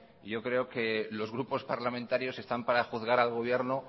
yo creo que los grupos parlamentarios están para juzgar al gobierno